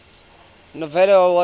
novello award winners